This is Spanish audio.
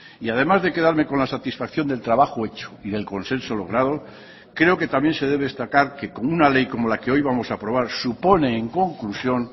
y además de quedarme con la satisfacción del trabajo hecho y del consenso logrado creo que también se debe destacar que con una ley como la que hoy vamos a aprobar supone en conclusión